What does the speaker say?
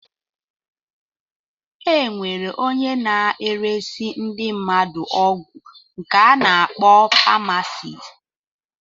Enwere ónyé na-eresi ndị mmadụ ọgwụ nke ana akpọ pamasist.